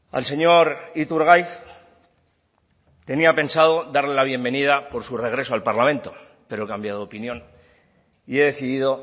al señor iturgaiz tenía pensado darle la bienvenida por su regreso al parlamento pero he cambiado de opinión y he decidido